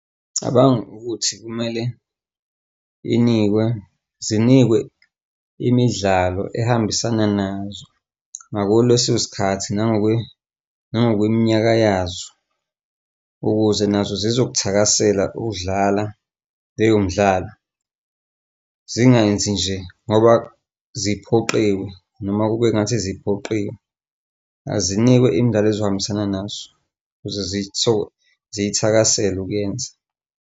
Ngicabanga ukuthi kumele inikwe zinikwe imidlalo ehambisana nazo ngako leso sikhathi nangokwe nangokweminyaka yazo, ukuze nazo zizokuthakasela ukudlala leyo midlalo zingenzi nje ngoba ziphoqiwe, noma kube sengathi ziphoqiwe azinikwe indaba ezohambisana nazo ukuze ziyithakasele ukuyenza.